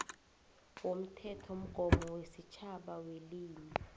womthethomgomo wesitjhaba welimi